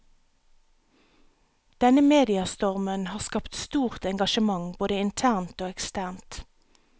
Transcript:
Denne mediastormen har skapt stort engasjement både internt og eksternt.